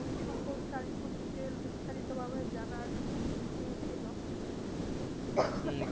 ওই সম্পর্কে আরেকটু Details বিস্তারিত ভাবে জানার এই ছিল